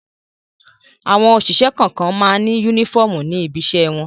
Àwọn òṣìṣẹ́ kọ̀ọ̀kan máa ń únífọ́ọ́mù ní ibiṣẹ́ wọn.